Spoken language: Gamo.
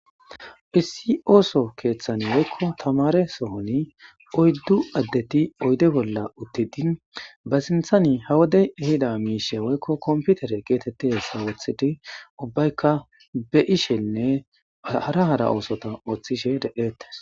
Iss oso kethan woyiko tamareson oyidu adde oyide bolla utidi ba sinthan ha wode ehida misha woyiko kompitere getetidayisa wotidi ubayika be,ishenne hara hara osotha otishe de,etees